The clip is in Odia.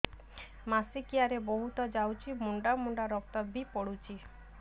ମାସିକିଆ ରେ ବହୁତ ଯାଉଛି ମୁଣ୍ଡା ମୁଣ୍ଡା ରକ୍ତ ବି ପଡୁଛି